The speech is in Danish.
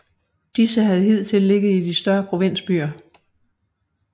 Disse havde hidtil ligget i de større provinsbyer